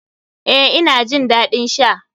Eh, ina jin dadin sha.